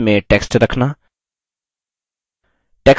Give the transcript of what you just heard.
callouts में text रखना